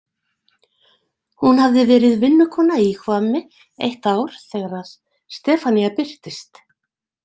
Hún hafði verið vinnukona í Hvammi eitt ár þegar Stefanía birtist.